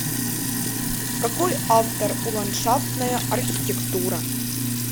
какой автор у ландшафтная архитектура